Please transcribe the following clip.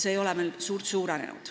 See ei ole meil eriti suurenenud.